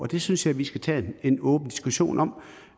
det synes jeg vi skal tage en åben diskussion om